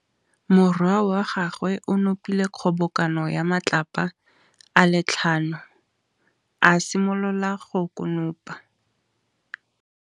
Morwa wa gagwe o nopile kgobokanô ya matlapa a le tlhano, a simolola go konopa.